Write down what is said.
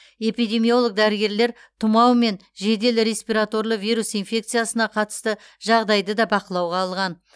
эпидемиолог дәрігерлер тұмау мен жедел респираторлы вирус инфекциясына қатысты жағдайды да бақылауға алған